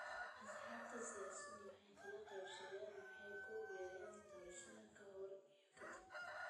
Axsaabta siyaasaddu way kala qaybsameen oo waxay ku biireen doorashada ka hor iyo ka dib.